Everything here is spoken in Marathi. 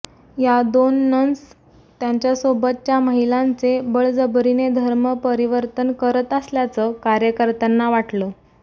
या दोन नन्स त्यांच्यासोबतच्या महिलांचे बळजबरीने धर्म परिवर्तन करत असल्याचं कार्यकर्त्यांना वाटलं